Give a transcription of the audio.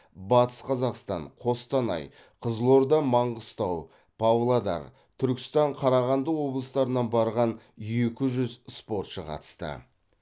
батыс қазақстан қостанай қызылорда маңғыстау павлодар түркістан қарағанды облыстарынан барған екі жүз спортшы қатысты